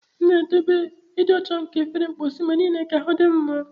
M na-edobe ịdị ọcha nke efere mposi mgbe niile ka ahụ dị m mma.